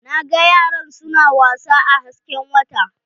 Na ga yaran su na wasa a hasken wata.